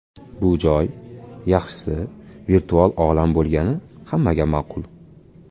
Bu joy, yaxshisi, virtual olam bo‘lgani hammaga ma’qul.